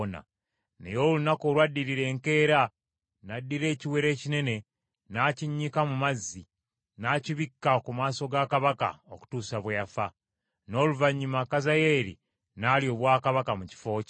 Naye olunaku olwaddirira, enkeera, n’addira ekiwero ekinene, n’akinnyika mu mazzi, n’akibikka ku maaso ga kabaka, okutuusa bwe yafa. N’oluvannyuma Kazayeeri n’alya obwakabaka mu kifo kye.